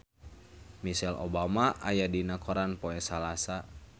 Michelle Obama aya dina koran poe Salasa